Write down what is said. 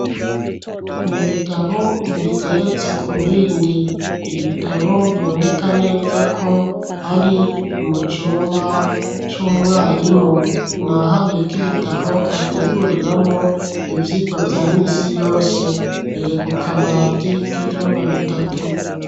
N'ibitabo bigeretse ku bindi ibitabo biboneka neza ko ari mu cyumba cy'umwarimu nahabiye ko'ibitabo ateguriramo ibyigwa bya misi yose mbere ku kabati k'ivyumba bitatu.